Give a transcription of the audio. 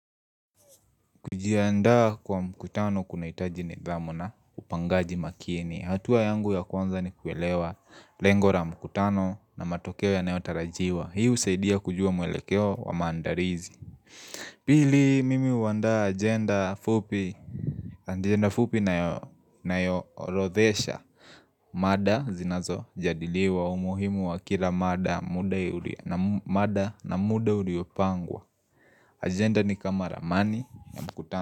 Kujiandaa kwa mkutano kunahitaji nidhamu na upangaji makini. Hatua yangu ya kwanza ni kuelewa lengo la mkutano na matokeo yanayotarajiwa. Hi husaidia kujua mwelekeo wa maandarizi. Pili mimi huandaa agenda fupi nayoorodhesha. Mada zinazojadiliwa umuhimu wa kila mada na muda uliopangwa. Agenda ni kama ramani ya mkutano.